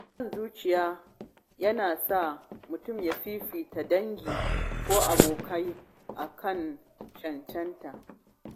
Son zuciya yana sa mutum ya fifita dangi ko abokai a kan cancanta.